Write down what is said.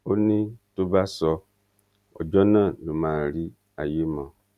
ó ní tó bá sọ ọjọ náà ló máa rí àyè mọ